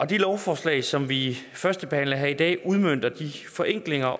det lovforslag som vi førstebehandler her i dag udmønter de forenklinger